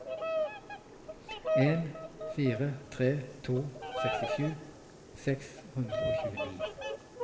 en fire tre to sekstisju seks hundre og tjueni